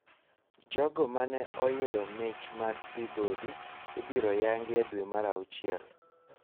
Jogo mane oyudo mich mag Peabody ibiro oyangi e dwe mar auchiel